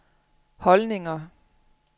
holdninger